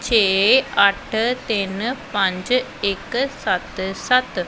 ਛੇ ਅਠ ਤਿਨ ਪੰਜ ਇਕ ਸੱਤ ਸੱਤ--